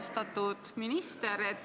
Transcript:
Austatud minister!